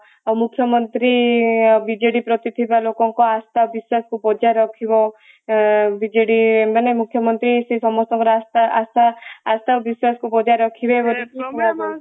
ଆଉ ମୁଖ୍ୟମନ୍ତ୍ରୀ ବିଜେଡି ପ୍ରତି ଥିବା ଲୋକଙ୍କ ଆଶା ବିଶ୍ବାସକୁ ବଜାୟ ରଖିବ ବିଜେଡି ମାନେ ମୁଖ୍ୟମନ୍ତ୍ରୀ ସେ ସମସ୍ତଙ୍କର ଆଶା ଆଶା ଆଶା ବିଶ୍ବାସକୁ ବଜାୟ ରଖିବେ ବୋଲି